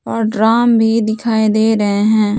और ड्रम भी दिखाई दे रहे है।